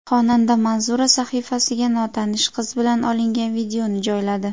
Xonanda Manzura sahifasiga notanish qiz bilan olingan videoni joyladi.